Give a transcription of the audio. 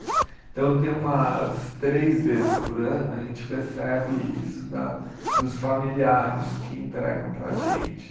Então, tem umas três vezes por ano a gente recebe isso da dos familiares que entregam para a gente.